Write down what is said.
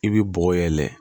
I bɛ bɔgɔ yɛlɛ